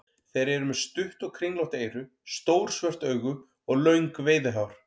Þeir eru með stutt og kringlótt eyru, stór svört augu og löng veiðihár.